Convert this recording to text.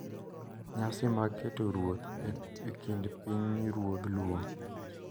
Nyasi mag keto ruoth e kind pinyruodh Luo